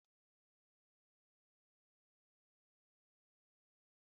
Vị́nịga nwere ọtụtụ ihe dị mma ọ na-enye n'ahụ